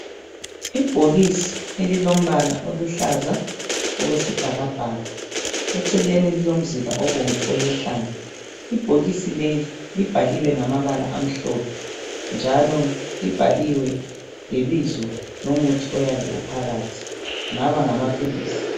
Ibhokisi elilombala oluhlaza okwesbhakabhaka. Eceleni lilomzila obomvu oyehlayo. Ibhokisi leli libhaliwe ngamabala amhlophe njalo libhaliwe lebizo lomuthi oyabe uphakathi ngaba ngamapilisi.